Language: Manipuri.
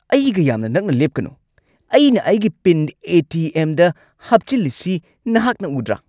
ꯑꯩꯒ ꯌꯥꯝꯅ ꯅꯛꯅ ꯂꯦꯞꯀꯅꯨ! ꯑꯩꯅ ꯑꯩꯒꯤ ꯄꯤꯟ ꯑꯦ. ꯇꯤ. ꯑꯦꯝ. ꯗ ꯍꯥꯞꯆꯤꯜꯂꯤꯁꯤ ꯅꯍꯥꯛꯅ ꯎꯗ꯭ꯔꯥ?